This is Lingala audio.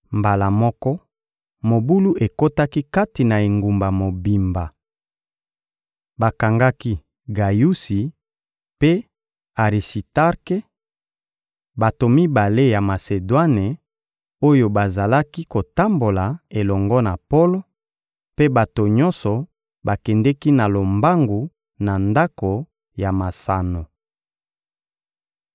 Mbala moko, mobulu ekotaki kati na engumba mobimba. Bakangaki Gayusi mpe Arisitarke, bato mibale ya Masedwane, oyo bazalaki kotambola elongo na Polo; mpe bato nyonso bakendeki na lombangu na ndako ya masano.